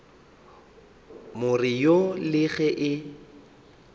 more wo le ge e